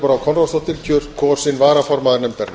brá konráðsdóttir kosin varaformaður nefndarinnar